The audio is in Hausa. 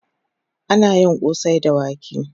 Ana yin kosai da wake